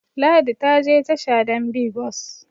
Ladi ta je tasha don bi bus